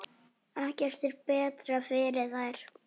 Ekkert er betra fyrir þær.